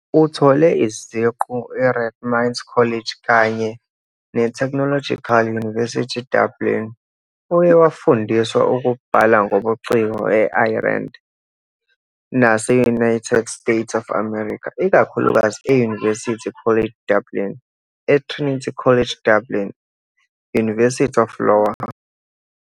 Uthole iziqu e-Rathmines College kanye ne -Technological University Dublin, uye wafundisa ukubhala ngobuciko e-Ireland nase-United States of America, ikakhulukazi e -University College Dublin, e-Trinity College Dublin, University of Iowa, nase -University College Cork.